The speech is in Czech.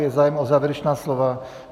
Je zájem o závěrečná slova?